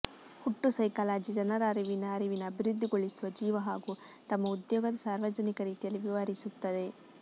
ಹುಟ್ಟು ಸೈಕಾಲಜಿ ಜನರ ಅರಿವಿನ ಅರಿವಿನ ಅಭಿವೃದ್ಧಿಗೊಳಿಸುವ ಜೀವ ಹಾಗು ತಮ್ಮ ಉದ್ಯೋಗದ ಸಾರ್ವಜನಿಕ ರೀತಿಯಲ್ಲಿ ವಿವರಿಸುತ್ತದೆ